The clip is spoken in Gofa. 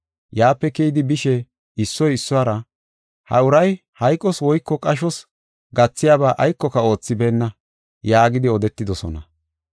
Yaape keyidi bishe issoy issuwara, “Ha uray hayqos woyko qashos gathiyaba aykoka oothibeenna” yaagidi odetidosona.